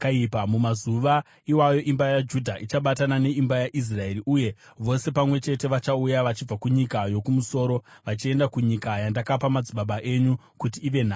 Mumazuva iwayo imba yaJudha ichabatana neimba yaIsraeri, uye vose pamwe chete vachauya vachibva kunyika yokumusoro vachienda kunyika yandakapa madzibaba enyu kuti ive nhaka.